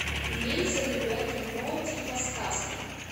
имеется ли у тебя кино типа сказки